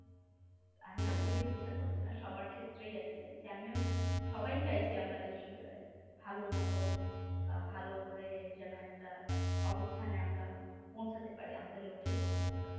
আমি আমাকে দিয়ে চিন্তা করছি না সবার ক্ষেত্রেই আর কি চাইছি আমিও সবাই চাইছি আমরা যে ভালো মতো বা ভালো করে যেন একটা অবস্থানে আমরা পৌঁছাতে পারি আমাদের লক্ষ্যে পৌঁছাতে পারি।